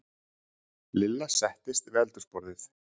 Lilla settist við eldhúsborðið.